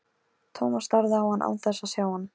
Thomas starði á hann án þess að sjá hann.